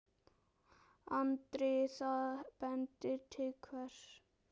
Andri: Það bendir til hvers?